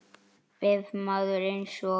Ef maður eins og